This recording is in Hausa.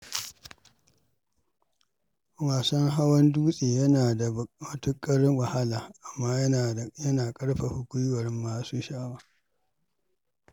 Wasan hawan dutse yana da matuƙar wahala, amma yana ƙarfafa gwiwar masu sha’awa.